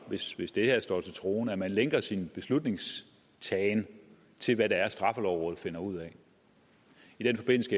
hvis hvis det her står til troende at man lænker sin beslutningstagen til hvad det er straffelovrådet finder ud af i den forbindelse